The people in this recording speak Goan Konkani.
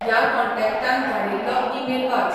ह्या कॉन्टॅक्टान धाडील्लो ईमेल वाच